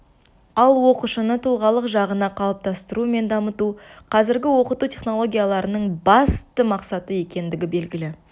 ал оқушыны тұлғалық жағына қалыптастыру мен дамыту қазіргі оқыту технологияларының басты мақсаты екендігі белгілі